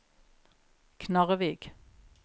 Knarrevik